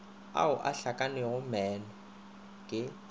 ao a hlakanego moono ke